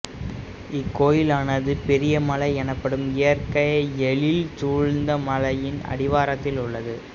இக்கோயிலானது பெரியமலை எனப்படும் இயற்கை எழில்சூழ்ந்த மலையின் அடிவாரத்தில் உள்ளது